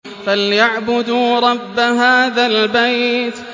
فَلْيَعْبُدُوا رَبَّ هَٰذَا الْبَيْتِ